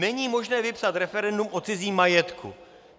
Není možné vypsat referendum o cizím majetku.